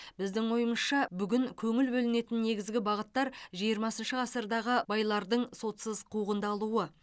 біздің ойымызша бүгін көңіл бөлінетін негізгі бағыттар жиырмасыншы ғасырдағы байлардың сотсыз қуғындалуы